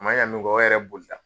man ɲa min kɔ o yɛrɛ boli la.